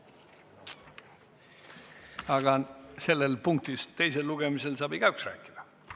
Aga selles punktis, teisel lugemisel saab igaüks rääkida.